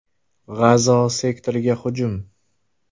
G‘azo sektoriga hujum.